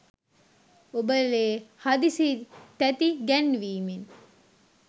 ඔබ ලේ හදිසි තැති ගැන්වීමෙන්